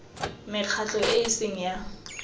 mekgatlho e e seng ya